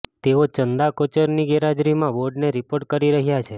તેઓ ચંદા કોચરની ગેરહાજરીમાં બોર્ડને રિપોર્ટ કરી રહ્યા છે